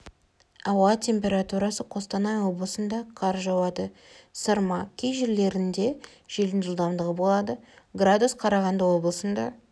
ауа температурасы қостанай облысында қар жауады сырма кей жерлерінде желдің жылдамдығы болады градус қарағанды облысында